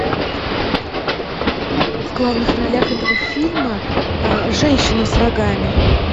в главных ролях этого фильма женщина с рогами